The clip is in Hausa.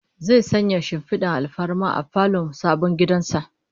Zai sanya shimfidar alfarma a falon sabon gidan sa